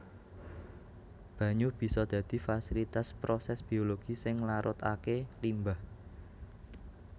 Banyu bisa dadi fasilitas prosès biologi sing nglarutaké limbah